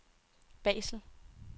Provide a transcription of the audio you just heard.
Basel